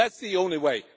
That is the only way.